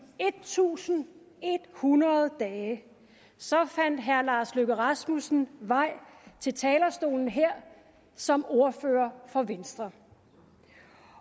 en tusind en hundrede dage fandt herre lars løkke rasmussen vej til talerstolen her som ordfører for venstre